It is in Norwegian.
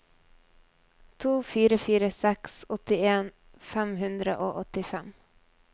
to fire fire seks åttien fem hundre og åttifem